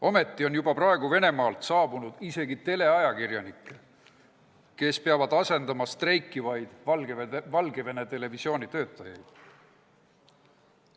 Ometi on juba praegu saabunud Venemaalt isegi teleajakirjanikke, kes peavad asendama streikivaid Valgevene televisiooni töötajaid.